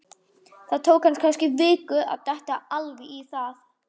Það tók hann kannski viku að detta alveg í það.